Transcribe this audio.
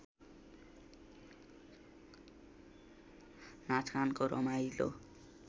नाचगानको रमाइलो